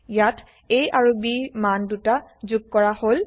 ইয়াত a আৰু b ৰ মান দুটা যোগ কৰা হল